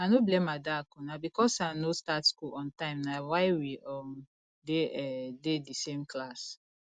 i no blame adaku na because say i no start school on time na why we um dey um dey the same class